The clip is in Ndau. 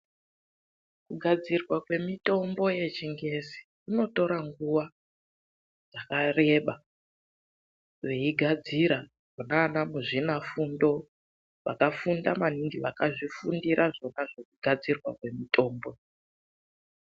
Kugadzirwa kwemitombo yechingezi kunotora nguwa yakareba veigadzira. Vona ana muzvinafundo vakafunda maningi, vakazvifundira zvona zvekugadzirwa kwemitombo.